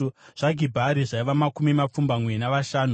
zvaGibhari zvaiva makumi mapfumbamwe navashanu;